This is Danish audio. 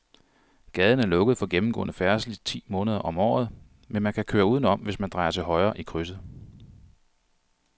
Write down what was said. Gaden er lukket for gennemgående færdsel ti måneder om året, men man kan køre udenom, hvis man drejer til højre i krydset.